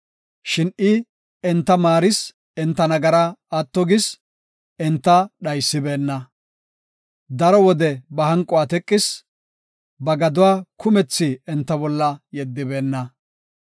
Shin I enta maaris enta nagaraa atto gis; enta dhaysibeenna. Daro wode ba hanquwa teqis; ba gaduwa kumethi enta bolla yeddibeenna.